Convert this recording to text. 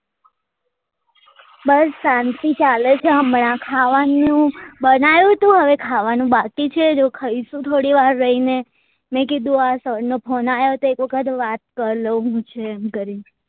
બસ શાંતિ ચાલે છે હમણાં ખાવા નું બનાયું તું હવે ખાવા નું બાકી છે જો ખાઈશું થોડી વાર રહી ને મેં કીધું આ sir નો phone આયો તો એક વખત વાત કર લઉં શું છે એમ કરી ને